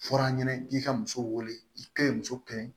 Fɔra an ɲɛnɛ k'i ka muso wele i ka ɲi muso ka ɲi